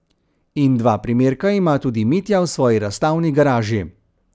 In dva primerka ima tudi Mitja v svoji razstavni garaži.